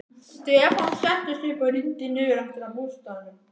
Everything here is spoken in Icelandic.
Stefán settist upp og rýndi niður eftir að bústaðnum.